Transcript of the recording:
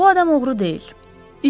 Bu adam oğru deyil.